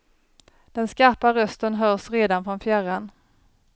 Den skarpa rösten hörs redan från fjärran.